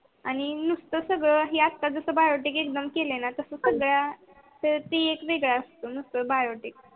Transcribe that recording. आणि नूस्त सगळ यात कस biotic exam केल ना तस सगळ्या टी एक वेगळ असतो. biotic